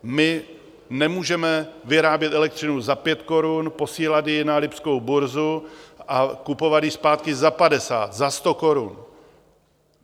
My nemůžeme vyrábět elektřinu za pět korun, posílat ji na lipskou burzu a kupovat ji zpátky za padesát, za sto korun.